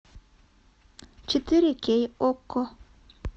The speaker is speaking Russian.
четыре кей окко